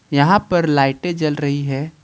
यहां पर लाइटें जल रही है।